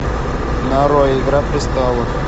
нарой игра престолов